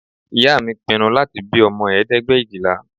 Ìyá mi pinnu láti bí ọmọ ẹ̀ẹ́dẹ́gbẹ̀éjìlá